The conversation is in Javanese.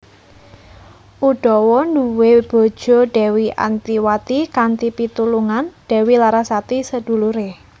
Udawa nduwe bojo Dewi Antiwati kanthi pitulungan Dewi Larasati sedulure